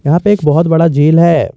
यहां पे एक बहुत बड़ा झील है।